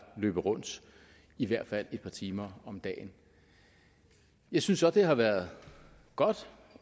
løber rundt i hvert fald et par timer om dagen jeg synes så det har været godt